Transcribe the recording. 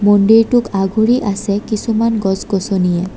মন্দিৰটোক আগুৰি আছে কিছুমান গছ-গছনিয়ে।